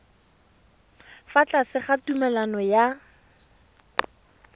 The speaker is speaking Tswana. fa tlase ga tumalano ya